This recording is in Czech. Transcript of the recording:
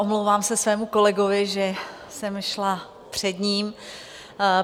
Omlouvám se svému kolegovi, že jsem šla před ním.